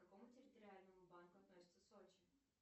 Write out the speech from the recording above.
к какому территориальному банку относится сочи